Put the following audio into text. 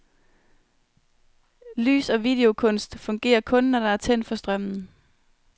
Lys- og videokunst fungerer kun, når der er tændt for strømmen.